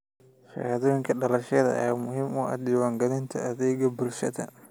Shahaadooyinka dhalashada ayaa muhiim u ah diiwaangelinta adeegga bulshada.